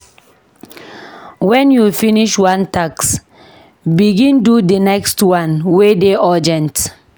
Wen you finish one task, begin do di next one wey dey urgent.